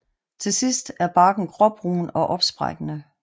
Til sidst er barken gråbrun og opsprækkende